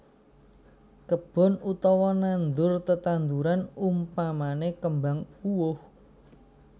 Kebon utawa nandur tetandhuran umpamane kembang uwoh